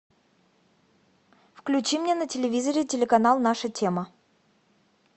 включи мне на телевизоре телеканал наша тема